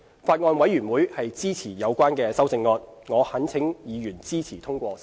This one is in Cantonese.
法案委員會支持有關的修正案，我懇請委員支持通過修正案。